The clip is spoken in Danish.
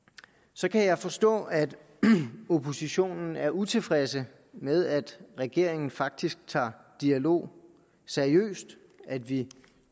så kan jeg forstå at oppositionen er utilfreds med at regeringen faktisk tager dialog seriøst at vi